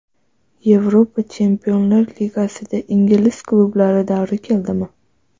Yevropa Chempionlar Ligasida ingliz klublari davri keldimi?